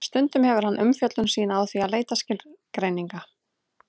Stundum hefur hann umfjöllun sína á því að leita skilgreininga.